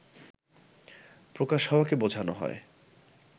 প্রকাশ হওয়াকে বোঝানো হয়